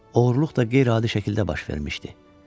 Oğurluq da qeyri-adi şəkildə baş vermişdi.